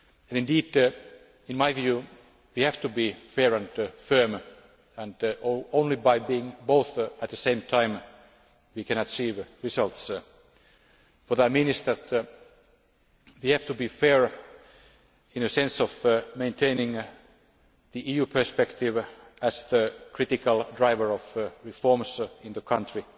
Indeed, in my view, we have to be fair and firm and only by being both at the same time can we achieve results. What I mean is that we have to be fair in the sense of maintaining the EU perspective as the critical driver of reforms in the country,